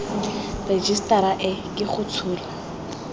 rejisetara e ke go tshola